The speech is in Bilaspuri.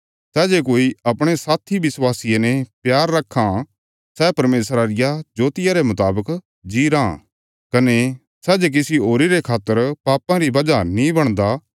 सै जे कोई अपणे साथी विश्वासिये ने प्यार रखां सै परमेशरा रिया ज्योतिया रे मुतावक जी राँ कने सै किसी होरी रे खातर पापां री वजह नीं बणदा